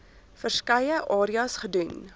verskeie areas gedoen